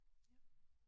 Ja